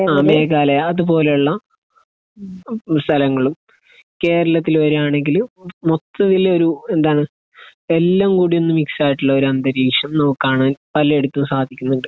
ആഹ്. മേഘാലയ. അതുപോലെയുള്ള സ്ഥലങ്ങളും. കേരളത്തിൽ വരുകയാണെങ്കിൽ മൊത്തത്തിൽ ഒരു എന്താണ് എല്ലാം കൂടി ഒന്ന് മിക്സ് ആയിട്ടുള്ള ഒരു അന്തരീക്ഷം നമുക്ക് കാണാൻ പലയിടത്തും സാധിക്കുന്നുണ്ട്.